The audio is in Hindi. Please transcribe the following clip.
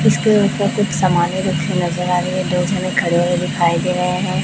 इसके ऊपर कुछ समाने रखे नजर आ रहे है और दो जने खड़े हुए दिखाई दे रहे है।